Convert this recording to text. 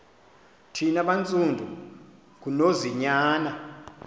thina bantsundu ngunonzinyana